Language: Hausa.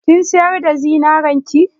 Kin sayar da zinarin ki?